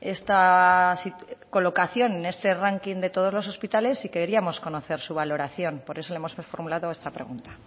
esta colocación en este ranking de todos los hospitales y queríamos conocer su valoración por eso le hemos formulado esta pregunta